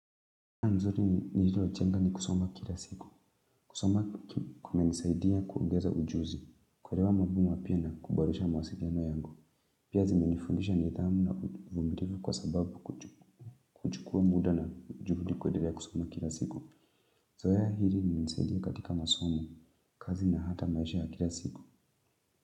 Ya mzuri ni nililochenga ni kusoma kila siku, kusoma kumenisaidia kuongeza ujuzi, kuerewa mabo mapya na kuboresha mwasiliano yangu. Pia zimenifundisha nidhamu na uvumirifu kwa sababu kuchukua muda na juhudi kuedelea kusoma kila siku. Zoea hili linimenseidia katika masomo, kazi na hata maisha kila siku.